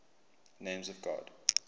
names of god